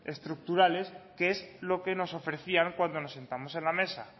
estructurales que es lo que nos ofrecían cuando nos sentamos en la mesa